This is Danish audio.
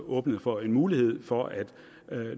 åbnet for en mulighed for at